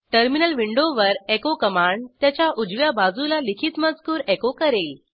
terminal विंडोवर echo command त्याच्या उजव्या बाजूला लिखित मजकूर एचो करेल